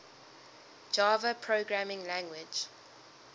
java programming language